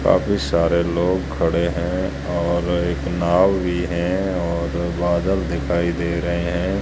काफी सारे लोग खड़े हैं और एक नाव भी है और बादल दिखाई दे रहे हैं।